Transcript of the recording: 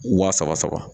Wa saba saba